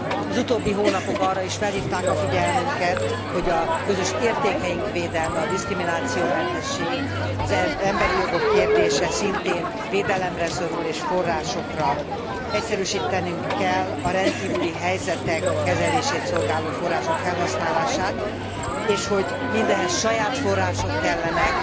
Az utóbbi hónapok arra is felhívták a figyelmünket, hogy a közös értékeink védelme, a diszkriminációmentesség, az emberi jogok kérdése szintén védelemre szorul és forrásokra, hogy egyszerűsítenünk kell a rendkívüli helyzetek kezelését szolgáló források felhasználását, és hogy mindehhez saját források kellenek,